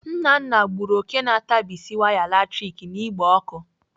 Nnanna gburu òké na-atabisi waya latrik n'igbe ọkụ.